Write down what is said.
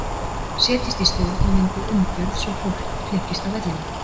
Setjist í stjórn og myndið umgjörð svo fólk flykkist á vellina.